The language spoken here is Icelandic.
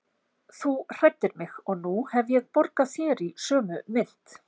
Þú hræddir mig og nú hef ég borgað þér í sömu mynt.